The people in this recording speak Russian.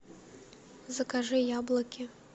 закажи яблоки